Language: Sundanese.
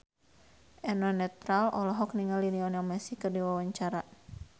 Eno Netral olohok ningali Lionel Messi keur diwawancara